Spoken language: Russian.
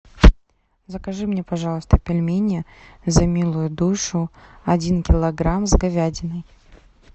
закажи мне пожалуйста пельмени за милую душу один килограмм с говядиной